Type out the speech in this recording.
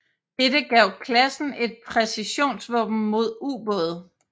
Dette gav klassen et præcisionsvåben mod ubåde